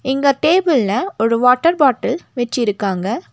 இங்க டேபிள்ல ஒரு வாட்டர் பாட்டில் வெச்சிருக்காங்க.